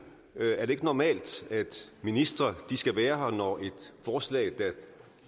er det ikke normalt at ministre skal være her når et forslag der